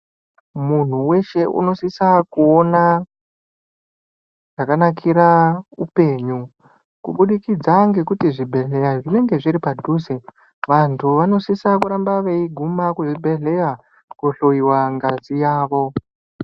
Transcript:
Munhu weshe unosisa kuona zvakanakira upenyu kubudikidza ngekuti zvibhedhleya zvinenge zviri padhuze vanthu vanosise kuramba veiguma kuzvibhedleya kohloyiwe ngazi yavo.